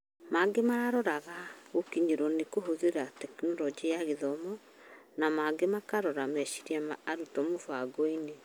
Maingĩ mararoraga arutwo gũkinyĩrwo na kũhũthĩra Tekinoronjĩ ya Gĩthomo, na mangĩ makirora meciria ma arutwo mũbangoinĩ.